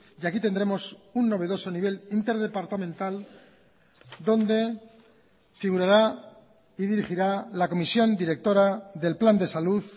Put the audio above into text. y aquí tendremos un novedoso nivel interdepartamental donde figurará y dirigirá la comisión directora del plan de salud